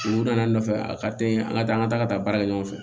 U nana ne nɔfɛ a ka teli an ka taa an ka taa ka taa baara kɛ ɲɔgɔn fɛ